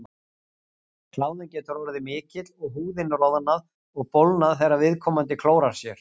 Kláðinn getur orðið mikill og húðin roðnað og bólgnað þegar viðkomandi klórar sér.